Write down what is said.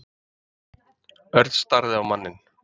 Örn starði á manninn.